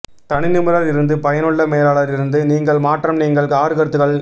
தனி நிபுணர் இருந்து பயனுள்ள மேலாளர் இருந்து நீங்கள் மாற்றம் நீங்கள் ஆறு கருத்துக்கள்